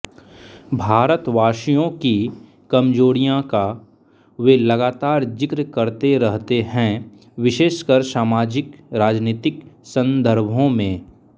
भारतवासियों की कमज़ोरियाँ का वे लगातार ज़िक्र करते रहते हैंविशेषकर सामाजिक राजनीतिक सन्दर्भों में